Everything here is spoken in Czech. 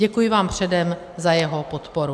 Děkuji vám předem za jeho podporu.